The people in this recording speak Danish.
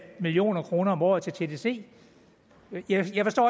million kroner om året til tdc jeg forstår